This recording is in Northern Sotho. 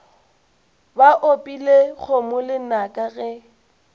ba opile kgomo lenaka ge